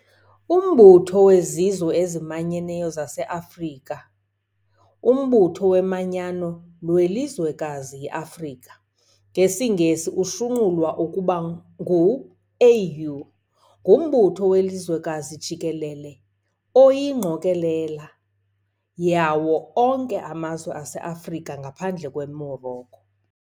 Umbutho wezizwe ezimanyeneyo zaseAfrika The Umbutho womanyano lwelizwekazi i-Afrika, ngesiNgesi ushunqulwa ube ngu-AU, ngumbutho welizwekazi jikelele oyingqokolela yawo onke amazwe ase-Afrika, ngaphandle kweMorocco.